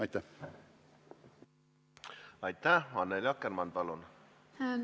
Annely Akkermann, palun!